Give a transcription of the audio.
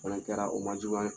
Fana kɛra o ma juguya